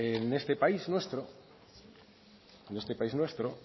en este país nuestro